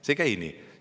See ei käi nii!